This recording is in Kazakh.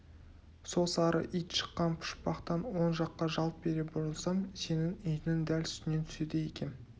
сол сары ит шыққан пұшпақтан оң жаққа жалт бере бұрылсам сенің үйіңнің дәл үстінен түседі екем